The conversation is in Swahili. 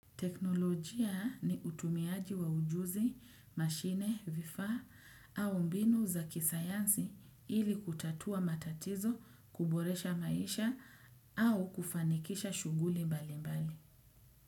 Teknolojia ni utumiaji wa ujuzi, mashine, vifaa au mbinu za kisayansi ili kutatua matatizo, kuboresha maisha au kufanikisha shughuli mbali mbali.